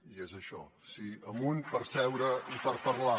i i és això sí amunt per seure i per parlar